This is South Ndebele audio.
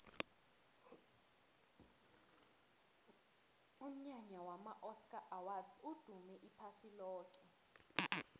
umnyanya wama oscar awards udume iphasi loke